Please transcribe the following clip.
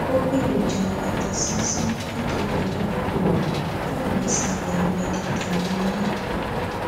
ó gbèròjà atasánsán látọdò aládùúgbò fún ìrẹsì ilẹ mẹditaréníà